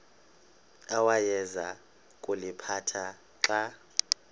awayeza kuliphatha xa